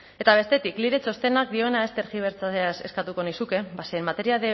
eta bestetik lile txostenak dioena ez tergibertsatzea eskatuko nizuke